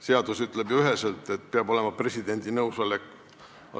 Seadus ütleb ju üheselt, et peab olema presidendi nõusolek.